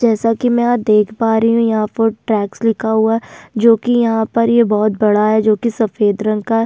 जैसा की मैं यहाँ देख पा रही हूँ यहाँ पर टैक्स लिखा हुआ है जो कि यहाँ पर ये बहुत बड़ा है जो की सफेद रंग का है।